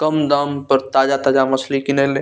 कम दाम पर ताज़ा-ताज़ा मछली किनेले।